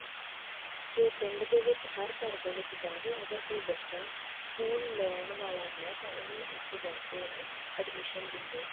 ਕੇ ਉਹ ਪਿੰਡ ਦੇ ਵਿੱਚ ਹਰ ਘਰ ਦੇ ਵਿੱਚ ਜਾਵੇ ਅਗਰ ਕੋਈ ਬੱਚਾ ਸਕੂਲ ਲਾਉਣ ਵਾਲਾ ਹੈ ਤਾਂ ਉਹਨੂੰ ਉੱਥੇ ਜਾ ਕੇ ਉਹਨੂੰ admission ਦਿੰਦੇ ਆ